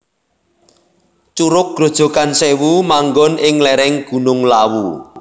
Curug Grojogan Sèwu manggon ing lèrèng Gunung Lawu